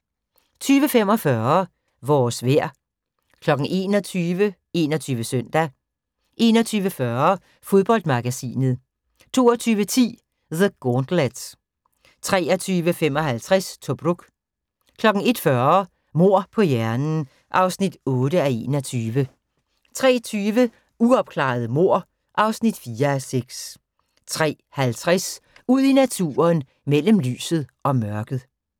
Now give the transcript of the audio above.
20:45: Vores vejr 21:00: 21 Søndag 21:40: Fodboldmagasinet 22:10: The Gauntlet 23:55: Tobruk 01:40: Mord på hjernen (8:21) 03:20: Uopklarede mord (4:6) 03:50: Ud i naturen: Mellem lyset og mørket